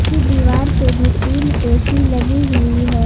की दीवार पे भी तीन ए_सी लगी हुई है।